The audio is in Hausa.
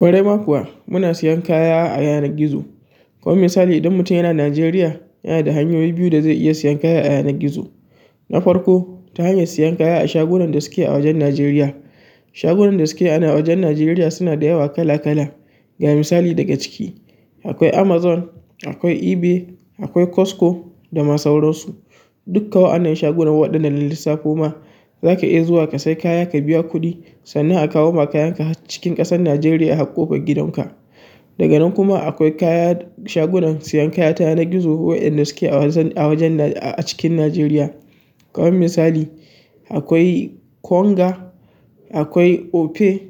Ƙwarai ma kuwa muna sayan kaya a yanar gizo. Kamar misali idan mutum yana Najeriya, yana da hanyoyi biyu da zai iya sayan kaya a yanar gizo. Na farko, ta hanyar siyan kaya a shagunan da suke a wajen Najeriya. Shagunan da suke a wajen Najeriya suna da yawa kala-kala. Ga misali daga ciki, akwai Amazon, akwai eBay, akwai Costco da ma sauransu. Dukka wa'annan shagunan waɗanda na lissafo ma, zaka iya zuwa ka sai kaya ka biya kuɗi sannan a kawo ma kayanka har cikin ƙasar Najeriya har ƙofar gidanka. Daga nan kuma akwai kaya-- shagunan sayan kaya ta yanar gizo waɗanda suke a wajen-- a wajen na a cikin Najeriya. Kaman misali, akwai Konga, akwai Opay,